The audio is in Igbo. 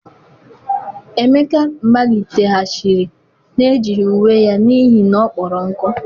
emeka maliteghachiri na-ejighi uwe ya n'ihi na ọ kpọrọ nkụ.